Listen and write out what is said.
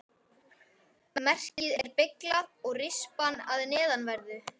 Merkið er beyglað og rispað að neðanverðu.